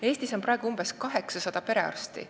Eestis on praegu umbes 800 perearsti.